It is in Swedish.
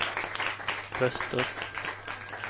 röster